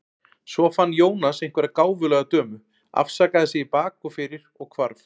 Svo fann Jónas einhverja gáfulega dömu, afsakaði sig í bak og fyrir og hvarf.